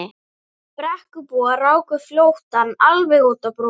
Brekkubúar ráku flóttann alveg út á brú.